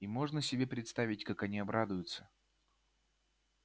и можно себе представить как они обрадуются